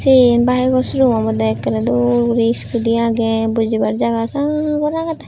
te iye bayeko showroom obodey ekkerey dol guri iskudi agey bojibar jaga sagor agedey.